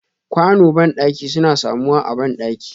Ƙwano bandaki suna samuwa a bandaki.